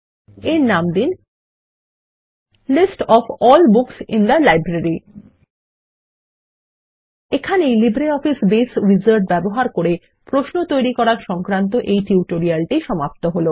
এর নাম দিন list of all books in the library এখানেই লিবর অফিস বেস এ উইজার্ড ব্যবহার করে প্রশ্ন তৈরী করা সংক্রান্ত এই টিউটোরিয়াল টি সমাপ্ত হল